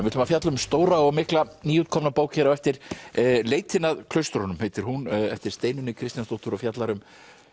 ætlum að fjalla um stóra og mikla nýútkomna bók hér á eftir leitin að klaustrunum heitir hún eftir Steinunni Kristjánsdóttur og fjallar um